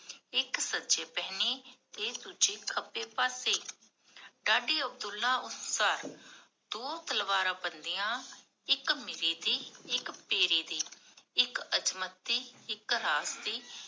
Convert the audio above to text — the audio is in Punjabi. ਇਕ ਸਜੇ ਪਹਨੀ, ਤੇ ਦੂਜੀ ਖੱਬੇ ਪਾਸੇ ਡਾਡੀ ਅਬਦੁਲਲਾ ਅਨੁਸਾਰ, ਦੋ ਤਲਵਾਰਾ ਬੰਦੀਆਂ, ਇਕ ਮੀਰੀ ਦੀ, ਇਕ ਪੀਰੀ ਦੀ, ਇਖ ਏਥ੍ਮਤ ਦੀ, ਇਕ ਰਾਤ ਦੀ